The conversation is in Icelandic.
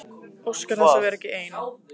Óskar þess að vera ekki ein.